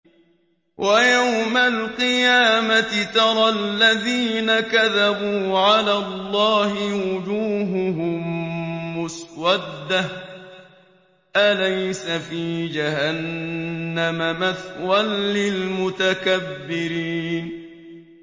وَيَوْمَ الْقِيَامَةِ تَرَى الَّذِينَ كَذَبُوا عَلَى اللَّهِ وُجُوهُهُم مُّسْوَدَّةٌ ۚ أَلَيْسَ فِي جَهَنَّمَ مَثْوًى لِّلْمُتَكَبِّرِينَ